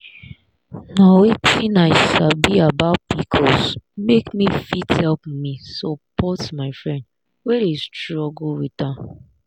nh wetin i sabi about pcos make me fit help me support my friend wey dey struggle with am.